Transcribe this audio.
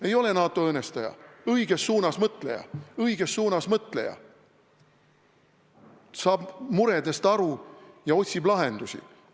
Ei ole NATO õõnestaja, ta on õiges suunas mõtleja, saab muredest aru ja otsib lahendusi.